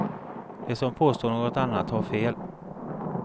De som påstår något annat har fel.